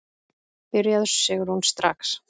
Byrjaðu Sigrún, strax.